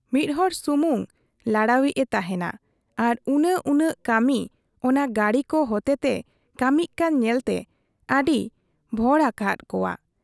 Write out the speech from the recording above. ᱢᱤᱫ ᱦᱚᱲ ᱥᱩᱢᱩᱝ ᱞᱟᱲᱟᱣ ᱤᱡ ᱮ ᱛᱟᱦᱮᱸᱱᱟ ᱟᱨ ᱩᱱᱟᱹᱜ ᱩᱱᱟᱹᱜ ᱠᱟᱹᱢᱤ ᱚᱱᱟ ᱜᱟᱹᱰᱤ ᱠᱚ ᱦᱚᱛᱮ ᱛᱮ ᱠᱟᱹᱢᱤᱜ ᱠᱟᱱ ᱧᱮᱞᱛᱮ ᱟᱹᱰᱤ ᱵᱷᱚᱲᱚ ᱟᱠᱟᱦᱟᱫ ᱠᱚᱣᱟ ᱾